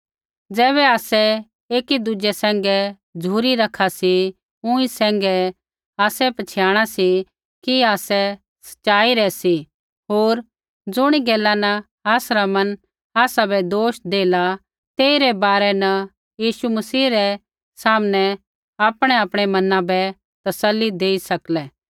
ज़ैबै आसै एकी दुज़ै सैंघै झ़ुरी रखा सी ऊँई सैंघै ही आसै पछ़ियाणिया सी कि आसै सच़ाई रै सी होर ज़ुणी गैला न आसरा मन आसाबै दोष देला तेइरै बारै न यीशु मसीह रै सामनै आपणैआपणै मना बै तसल्ली देई सकलै